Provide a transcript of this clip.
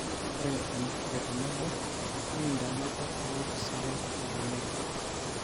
Ore enekikwet tenebo nekintaa enakop ewueji sidai natonieki.